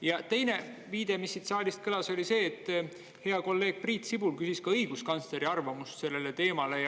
Ja teine viide, mis siit saalist kõlas, oli see, et hea kolleeg Priit Sibul küsis ka õiguskantsleri arvamust sellele teemale.